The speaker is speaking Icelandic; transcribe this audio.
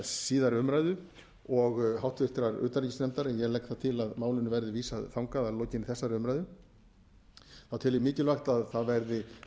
síðari umræðu og háttvirtrar utanríkismálanefndar en ég legg það til að málinu verði vísað þangað að lokinni þessari umræðu þá tel ég mikilvægt að það verði